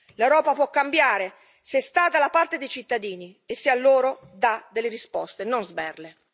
L'Europa può cambiare se sta dalla parte dei cittadini e se a loro dà delle risposte e non sberle.